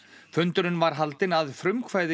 fundurinn var haldinn að frumkvæði